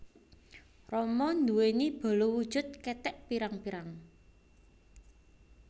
Rama nduwèni bala wujud kethèk pirang pirang